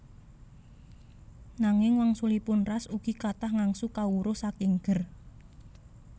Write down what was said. Nanging wangsulipun Ras ugi kathah ngangsu kawruh saking Ger